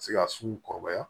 Se ka sun kɔrɔbaya